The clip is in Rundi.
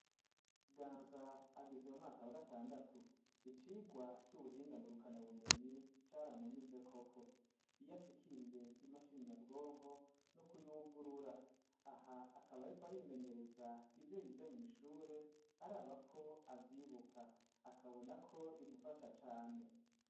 Ganza ageze mumwakaba gatandatu icigwa c'ubuhingangu rukana bumenyi cariamunyuze koko iyo ashikiriye imashininyabwonko n'ukuyugurura aha akaba, ariko arimenyereza ivyo yize mw'ishure ar aba ko avyibuka akabona ko bimufasha cane.